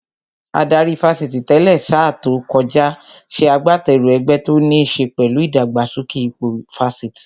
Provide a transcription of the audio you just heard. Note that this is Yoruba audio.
Adarí Fásitì tẹ́lẹ̀ sa tó kọjá ṣe agbateru ẹgbẹ́ tó níṣe pẹ̀lú ìdàgbàsókè ipò Fásitì